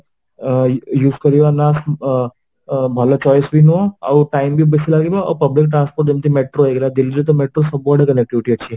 ଆଁ use କରିବା ନା ଅ ଅ ଭଲ choice ବି ନୁହଁ ଆଉ time ବି ବେଶି ଲାଗିବ ଆଉ public transport ଯେମିତି metro ହେଇଗଲା Delhi ରେ ତ metro ସବୁଆଡେ connective ଅଛି